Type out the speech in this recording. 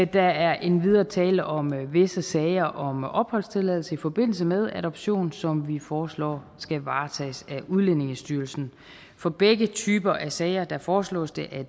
der er endvidere tale om visse sager om opholdstilladelse i forbindelse med adoption som vi foreslår skal varetages af udlændingestyrelsen for begge typer af sager foreslås det at